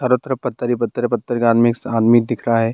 हर तरफ पत्थर ही पत्थर है पत्थर का आदमी एक सामने दिखा है।